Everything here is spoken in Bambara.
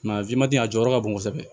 a a jɔyɔrɔ ka bon kosɛbɛ